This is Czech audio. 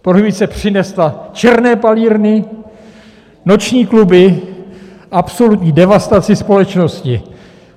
Prohibice přinesla černé palírny, noční kluby, absolutní devastaci společnosti.